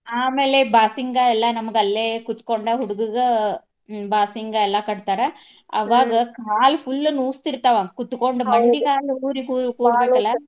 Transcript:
ಆಮೇಲೆ ಬಾಸಿಂಗಾ ಎಲ್ಲಾ ನಮಗ ಅಲ್ಲೇ ಕುತ್ಕೊಂಡ ಹುಡ್ಗುಗ ಬಾಸಿಂಗ ಎಲ್ಲಾ ಕಟ್ತಾರ. ಅವಾಗ ಕಾಲ್ full ನುಸ್ತಿರ್ತಾವ ಕುತ್ಕೊಂಡ್ ಮಂಡಿಗಾಲ್ ಊರಿ ಕೂರ್ಬೇಕಲ್ಲಾ .